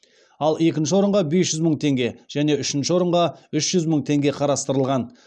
ал екінші орынға бес жүз мың теңге және үшінші орынға үш жүз мың теңге қарастырылған